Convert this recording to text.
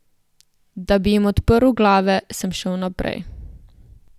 Da bi jim odprl glave, sem šel naprej.